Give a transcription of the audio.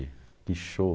Que show!